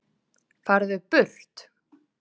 FARÐU BURT